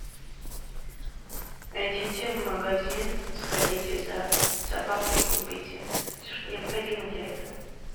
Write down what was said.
идите в магазин сходите за собакой и купите все что необходимо для этого